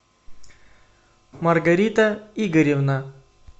маргарита игоревна